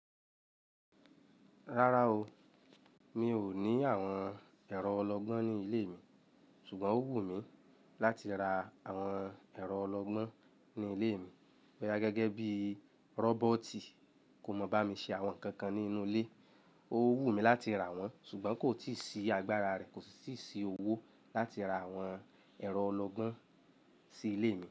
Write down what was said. Rárá o, mi ò ní àwọn ẹ̀rọ ọlọgbọ́n ní ilé mi, ṣùgbọ́n ó wù mí láti ra àwọn ẹ̀rọ ọlọgbọ́n ní ilé mi. Bóyá gẹ́gẹ́ bí rọ́bọ́ọ̀tì kò mọ̀ bá mi ṣe àwọn nǹkan kan nínú ilé, ó wù mí láti ra wọ́n ṣùgbọ́n kò tíì sí agbára rẹ̀, kò sì sí owó láti ra àwọn ẹ̀rọ ọlọgbọ́n sí ilé mi.